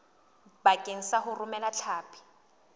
bakeng sa ho romela hlapi